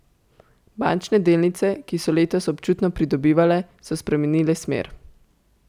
Bančne delnice, ki so letos občutno pridobivale, so spremenile smer.